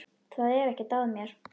Það er ekkert að mér.